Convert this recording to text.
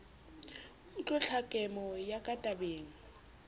utlwe ntlhakemo ya ka tabeng